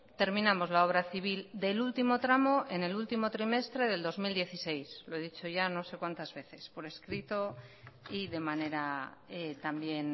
terminamos la obra civil del último tramo en el último trimestre del dos mil dieciséis lo he dicho ya no sé cuántas veces por escrito y de manera también